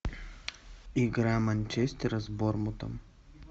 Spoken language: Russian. игра манчестера с борнмутом